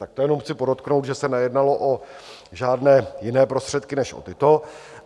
Tak to jenom chci podotknout, že se nejednalo o žádné jiné prostředky než o tyto.